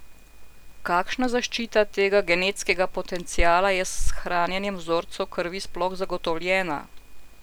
Kakšna zaščita tega genetskega potenciala je s hranjenjem vzorcev krvi sploh zagotovljena?